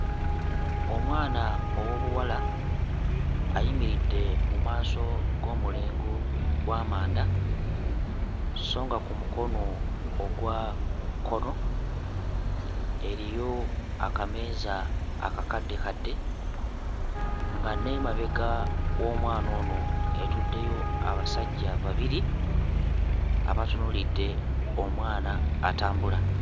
Omwana ow'obuwala ayimiridde mu maaso g'omulemgo gw'amanda, sso nga ku mukono ogwa kkono eriyo akameeza akakaddekadde, nga n'emabega w'omwana ono, etuddeyo abasajja babiri abatunuulidde omwana atambula.